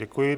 Děkuji.